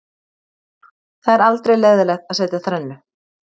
Það er aldrei leiðinlegt að setja þrennu.